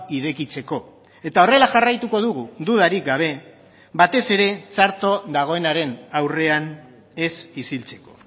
irekitzeko eta horrela jarraituko dugu dudarik gabe batez ere txarto dagoenaren aurrean ez isiltzeko